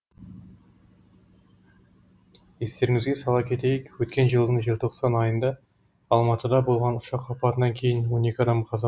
естеріңізде сала кетейік өткен жылдың желтоқсан айында алматыда болған ұшақ апатынан кейін он екі адам қаза